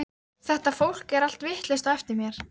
Þetta fólk er allt vitlaust á eftir mér.